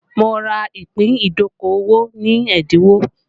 Mo ra ìpín ìdókòwò ní ẹ́dínwó